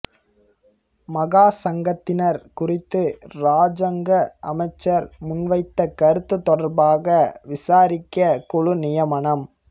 மகா சங்கத்தினர் குறித்து இராஜாங்க அமைச்சர் முன்வைத்த கருத்து தொடர்பாக விசாரிக்க குழு நியமனம்